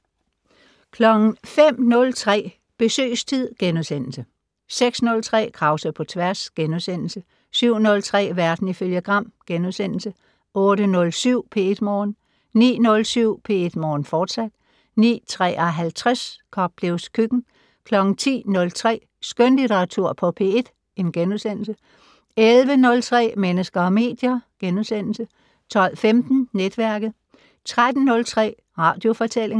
05:03: Besøgstid * 06:03: Krause på tværs * 07:03: Verden ifølge Gram * 08:07: P1 Morgen 09:07: P1 Morgen, fortsat 09:53: Koplevs køkken 10:03: Skønlitteratur på P1 * 11:03: Mennesker og medier * 12:15: Netværket 13:03: Radiofortællinger